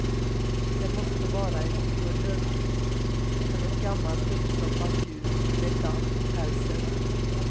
Det måste vara en oerhörd kick för ett gammalt uppstoppat djur med damm i pälsen.